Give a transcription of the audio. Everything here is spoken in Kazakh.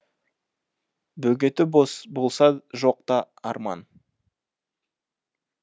бөгеті болса жоқ та арман